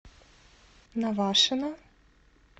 навашино